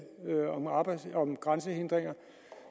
om grænsehindringer